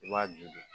I b'a ju